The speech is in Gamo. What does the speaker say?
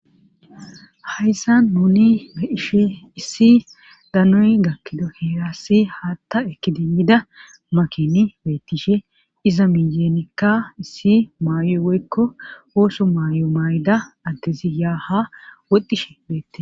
Hayssan nuni ehishe issi danoy gakkido heerassi haatta ekidimmida makini beettishe iza minjenikka issi maay7oy woykko ooso maay7o maay7ida addezi yaaha woxxishe beettie.